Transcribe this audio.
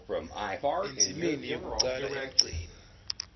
endzimeni yekucala emgceni